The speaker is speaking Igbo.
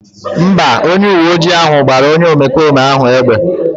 Mba, onye uwe ojii ahụ gbara onye omekome ahụ egbe